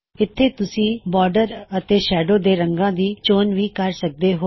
ਇੱਥੇ ਤੁਸੀਂ ਬੌਰਡਰ ਅਤੇ ਸ਼ੈਡੋ ਦੇ ਰੰਗਾਂ ਦੀ ਚੋਣ ਵੀ ਕਰ ਸਕਦੇ ਹੋਂ